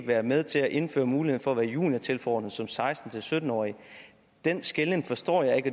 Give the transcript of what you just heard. være med til at indføre muligheden for at være juniortilforordnet som seksten til sytten årig den skelnen forstår jeg ikke